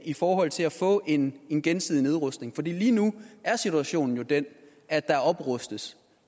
i forhold til at få en en gensidig nedrustning for lige nu er situationen jo den at der oprustes